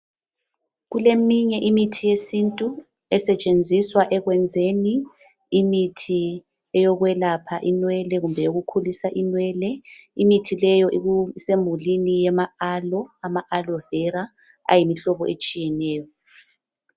Kuleminye imithi yesintu esetshenziswa ekwenzeni imithi yekwelapha inwele kumbe yokukhulisa inwele imithi le isemulini yama alo ama alovera ayimhlobo etshiyeneyo.